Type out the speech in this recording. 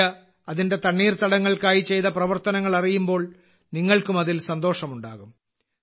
India അതിന്റെ തണ്ണീർത്തടങ്ങൾക്കായി ചെയ്ത പ്രവർത്തനങ്ങൾ അറിയുമ്പോൾ നിങ്ങൾക്കും അതിൽ സന്തോഷമുണ്ടാകും